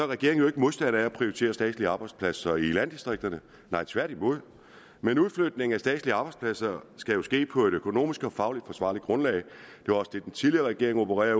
regeringen ikke modstander af at prioritere statslige arbejdspladser i landdistrikterne tværtimod men udflytningen af statslige arbejdspladser skal jo ske på et økonomisk og fagligt forsvarligt grundlag det var også det den tidligere regering opererede